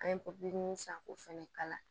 An ye san k'o fɛnɛ kala